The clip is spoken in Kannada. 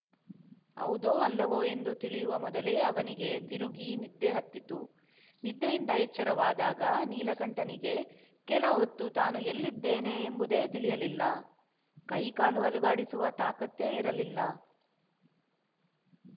ಹೌದೋ ಅಲ್ಲವೋ ಎಂದು ತಿಳಿಯುವ ಮೊದಲೇ ಅವನಿಗೆ ತಿರುಗಿ ನಿದ್ದೆಹತ್ತಿತು ನಿದ್ದೆಯಿಂದ ಎಚ್ಚರವಾದಾಗ ನೀಲಕಂಠನಿಗೆ ಕೆಲಹೊತ್ತು ತಾನು ಎಲ್ಲಿದ್ದೇನೆ ಎಂಬುದೇ ತಿಳಿಯಲಿಲ್ಲ ಕೈಕಾಲು ಅಲುಗಾಡಿಸುವ ತಾಕತ್ತೇ ಇರಲಿಲ್ಲ